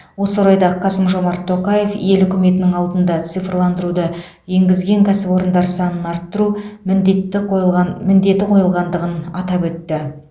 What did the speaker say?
осы орайда қасым жомарт тоқаев ел үкіметінің алдына цифрландыруды енгізген кәсіпорындар санын арттыру міндетті қойылған міндеті қойылғандығын атап өтті